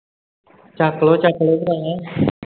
ਚੱਕ ਲਓ ਚੱਕ ਲਓ ਭਰਾਵਾ